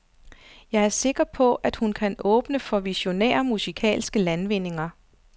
Jeg er sikker på, at hun kan åbne for visionære musikalske landvindinger.